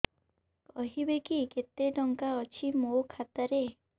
କହିବେକି କେତେ ଟଙ୍କା ଅଛି ମୋ ଖାତା ରେ